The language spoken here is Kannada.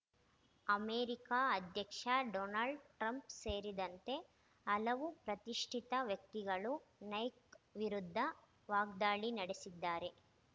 ಅಮೆರಿಕ ಅಧ್ಯಕ್ಷ ಡೊನಾಲ್ಡ್‌ ಟ್ರಂಪ್‌ ಸೇರಿದಂತೆ ಹಲವು ಪ್ರತಿಷ್ಠಿತ ವ್ಯಕ್ತಿಗಳೂ ನೈಕ್‌ ವಿರುದ್ಧ ವಾಗ್ದಾಳಿ ನಡೆಸಿದ್ದಾರೆ